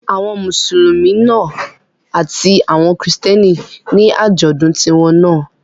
Àwọn Mùsùlùmí àti àwọn Kristẹni ní àjọ̀dún tiwọn náà